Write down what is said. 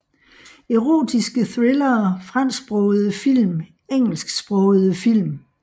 Erotiske thrillere Fransksprogede film Engelsksprogede film